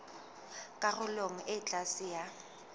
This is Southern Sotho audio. karolong e ka tlase ya